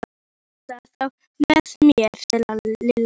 Þú mátt nota þá með mér sagði Lilla.